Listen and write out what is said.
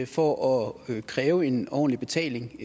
for at kræve en ordentlig betaling